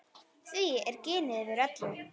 Því er ginið yfir öllu.